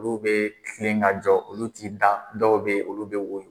Olu bɛ kilen ka jɔ olu t'i da dɔw bɛ ye olu bɛ woyo.